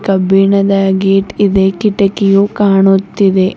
ಕಬ್ಬಿಣದ ಗೇಟ್ ಇದೆ ಕಿಟಕಿಯು ಕಾಣುತ್ತಿದೆ